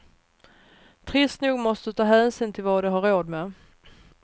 Trist nog måste du ta hänsyn till vad de har råd med.